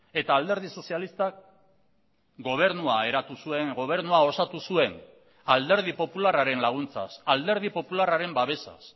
eta alderdi sozialistak gobernua eratu zuen gobernua osatu zuen alderdi popularraren laguntzaz alderdi popularraren babesaz